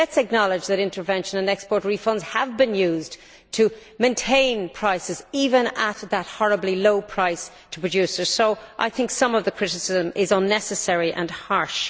Let us acknowledge that intervention and export refunds have been used to maintain prices, even with that horribly low price for producers, so I think some of the criticism is unnecessary and harsh.